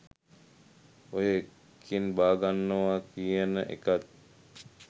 ඔය එකෙන් බාගන්නවා කියන එකත්